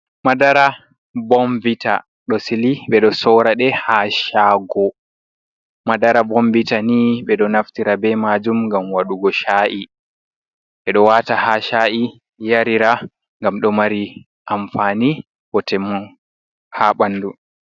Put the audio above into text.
Madara bomvita ɗo sili sore ha shago. Madara bomviita ni be ɗo naftira be majum ngam wadugo sha’i. Ɓe ɗo wata ha sha’i, yarira gam ɗo mari amfani bo temun ha ɓandu.